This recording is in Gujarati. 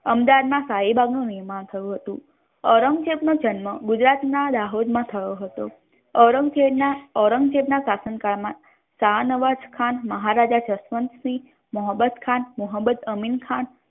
અમદાવાદ ના સાઈબાગ નુ નિર્માણ થયુ હતુ ઔરંગઝેબ નો જન્મ ગુજરાત ના દાહોદ મા થયો હતો ઔરંગઝેબ ના શાસન કાળ મા શાનવાઝ ખાન મહારાજા જશવન્ત સિંહ મોહમ્મદ ખાન મોહમ્મદ અમીન ખાન